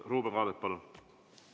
Ruuben Kaalep, palun!